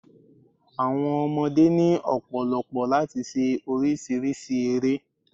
Àwọn ọmọdé ni ọ̀pọ̀lọ̀pọ̀ láti se orísírìsí ere